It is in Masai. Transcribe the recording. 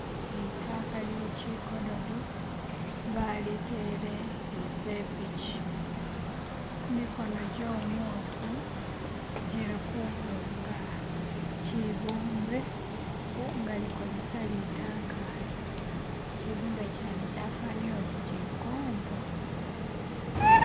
Lidoyi lyeshigododo balitele musepiki, gimikono gyomuntu gili kubumba shibumbe nga alikukozesa lidoyi ili. Shibumbe shene shafanile uti shikombe.